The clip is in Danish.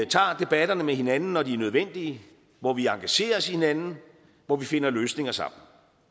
tager debatterne med hinanden når de er nødvendige hvor vi engagerer os i hinanden hvor vi finder løsninger sammen